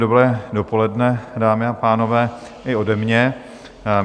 Dobré dopoledne, dámy a pánové, i ode mě.